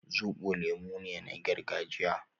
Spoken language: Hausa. Zobo lemu ne na gargajiya